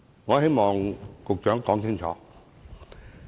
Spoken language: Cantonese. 我希望局長可以澄清。